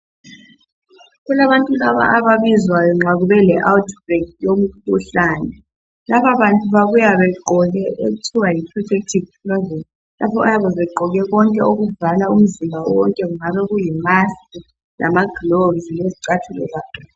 Kulabantu laba ababizwayo nxa kube le outbreak yomkhuhlane. Lababantu babuya begqoke okuthiwa yi protective clothing, abayabe begqoke konke okuvala umzimba wonke njalo kuyi mask, lama gloves lezicathulo zakhona.